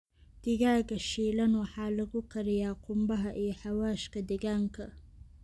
Digaagga shiilan waxaa lagu kariyaa qumbaha iyo xawaashka deegaanka.